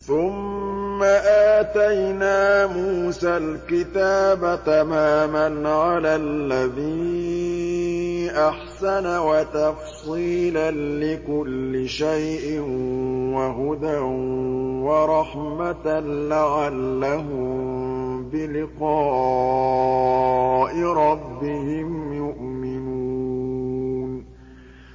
ثُمَّ آتَيْنَا مُوسَى الْكِتَابَ تَمَامًا عَلَى الَّذِي أَحْسَنَ وَتَفْصِيلًا لِّكُلِّ شَيْءٍ وَهُدًى وَرَحْمَةً لَّعَلَّهُم بِلِقَاءِ رَبِّهِمْ يُؤْمِنُونَ